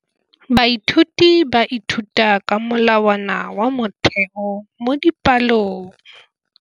Baithuti ba ithuta ka molawana wa motheo mo dipalong.